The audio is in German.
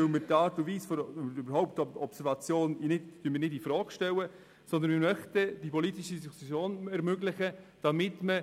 Wir möchten damit nicht die Art und Weise der Observation oder die Observation überhaupt infrage stellen, sondern wir möchten die politische Diskussion ermöglichen, damit man